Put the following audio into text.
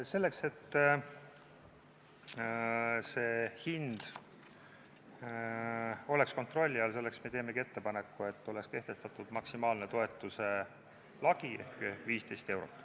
Selleks, et see hind oleks kontrolli all, me teemegi ettepaneku, et oleks kehtestatud maksimaalne toetuse lagi ehk 15 eurot.